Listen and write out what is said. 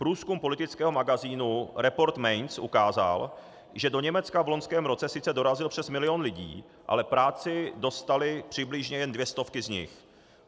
Průzkum politického magazínu Report Mainz ukázal, že do Německa v loňském roce sice dorazil přes milion lidí, ale práci dostaly přibližně jen dvě stovky z nich.